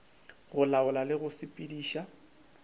go laola le go sepediša